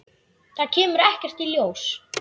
Það kemur ekkert ljós.